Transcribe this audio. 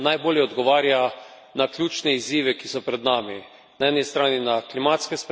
Učinkovita raba energije najbolje odgovarja na ključne izzive, ki so pred nami.